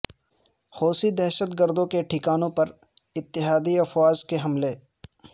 حوثی دہشت گردوں کے ٹھکانوں پر اتحادی افواج کے حملے